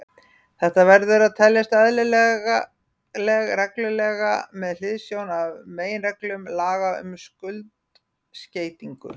Þetta verður að teljast eðlileg regla með hliðsjón af meginreglum laga um skuldskeytingu.